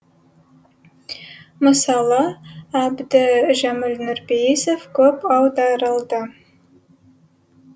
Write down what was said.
мысалы әбдіжәміл нұрпейісов көп аударылды